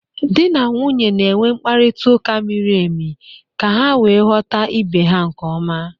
Di na nwunye na-enwe mkparịta ụka miri emi ka ha wee ghọta ibe ha nke ọma